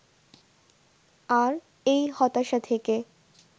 আর এই হতাশা থেকে